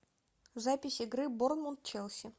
запись игры борнмут челси